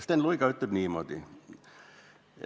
Sten Luiga ütleb niimoodi: "...